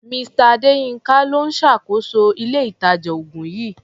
Mr. Adéyínká ló ń ṣàkóso ilé-ìtàjà-oògùn yìí.